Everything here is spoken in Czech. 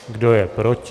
Kdo je proti?